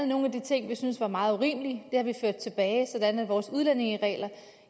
nogle af de ting vi syntes var meget urimelige har vi ført tilbage sådan at vores udlændingeregler